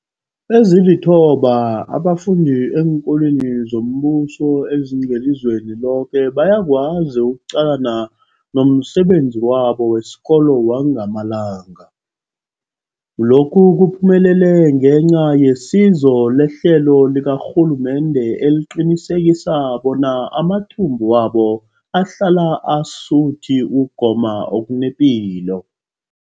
Ezilithoba abafunda eenkolweni zombuso ezingelizweni loke bayakwazi ukuqalana nomsebenzi wabo wesikolo wangamalanga. Lokhu kuphumelele ngenca yesizo lehlelo likarhulumende eliqinisekisa bona amathumbu wabo ahlala asuthi ukugoma okunepilo.